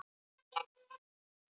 Og kom víða við.